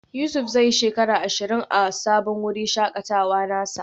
Yusuf zai yi shekara ashirin a sabon wurin shakatawa nasa.